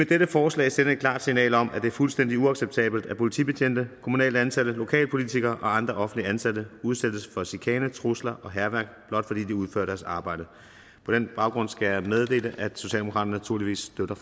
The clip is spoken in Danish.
dette forslag sende et klart signal om at det er fuldstændig uacceptabelt at politibetjente kommunalt ansatte lokalpolitikere og andre offentligt ansatte udsættes for chikane trusler og hærværk blot fordi de udfører deres arbejde på den baggrund skal jeg meddele at socialdemokraterne naturligvis støtter